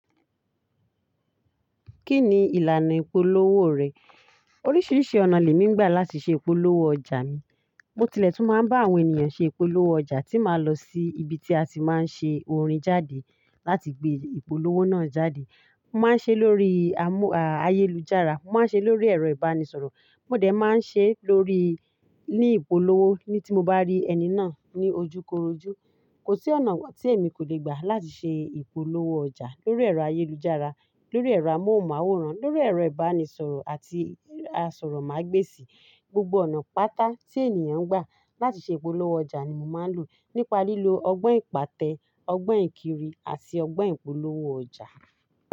Kí ni ìlànà ìpolówó rẹ̀? Oríṣiríṣi ọ̀nà lè mí gbà láti ṣe ìpolówó ọjà mi. Mo tilẹ̀ tún máa ń bá àwọn ènìyàn ṣe ìpolówó ọjà tí màá lọ sí ibi tí a ti máa ń ṣe orin jáde láti gbé ìpolówó náà jáde. Mo máa ń ṣe lórí amú, à, ayélujára, mo máa ń ṣe lórí ẹ̀rọ ìbánisọ̀rọ̀, mo dẹ̀ máa ń ṣe lórí, ní ìpolówó ní tí mo bá rí ẹni náà ní ojúkorojú. Kò sí ọ̀nà tí èmi kò lè gbà láti ṣe ìpolówó ọjà. Lórí ẹ̀rọ ayélujára, lórí ẹ̀rọ amóhùnmáwòrán, lórí ẹ̀rọ ìbánisọ̀rọ̀ àti asọ̀rọ̀mágbèsì. Gbogbo ọ̀nà pátá tí ènìyàn ń gbà láti ṣe ìpolówó ọjà ni mo máa ń lò, nípa lílo ọgbọ́n ìpátẹ, ọgbọ́n ìkiri àti ọgbọ́n ìpolówó ọjà.